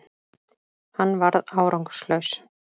Hann varð árangurslaus